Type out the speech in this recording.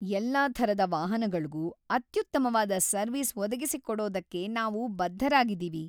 ಎಲ್ಲಾ ಥರದ ವಾಹನಗಳ್ಗೂ ಅತ್ಯುತ್ತಮವಾದ ಸರ್ವಿಸ್ ಒದಗಿಸ್ಕೋಡೋದಕ್ಕೆ ನಾವು ಬದ್ಧರಾಗಿದೀವಿ.